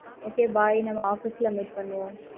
okay bye நம்ம office ல meet பண்ணுவோம்.